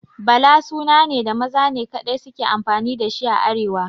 Bala suna ne da maza ne kaɗai suke amfani da shi a arewa